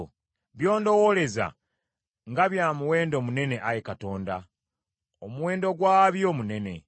By’ondowooleza nga bya muwendo munene, Ayi Katonda! Omuwendo gwabyo munene!